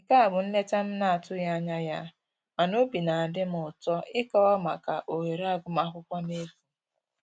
Nke a bụ nleta m na-atụghị anya ya mana obi na adị m ụtọ ịkọwa maka ohere agụmakwụkwọ n'efu